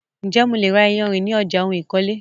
Ǹjè mo lè ra iyarìn ní ọjà ohun ìkọ́lé?